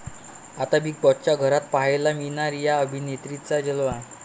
आता बिग बाॅसच्या घरात पाहायला मिळणार 'या' अभिनेत्रींचा जलवा